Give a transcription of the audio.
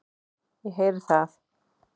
Ég heyri það.